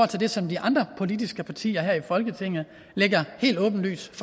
til det som de andre politiske partier her i folketinget lægger helt åbenlyst